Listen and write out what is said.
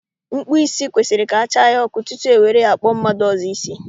Mkpụ isi kwesịrị ka a chaa ya ọkụ tutu ewere ya kpụọ mmadụ ọzọ isi